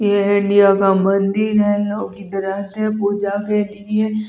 ये इंडिया का मंदिर है लोग आते हैं पूजा के लिए--